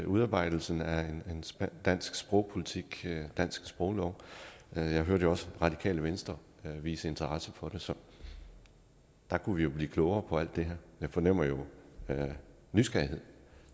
udarbejdelse af en dansk sprogpolitik og dansk sproglov jeg hørte jo også radikale venstre vise interesse for det så der kunne vi jo blive klogere på alt det her jeg fornemmer jo nysgerrighed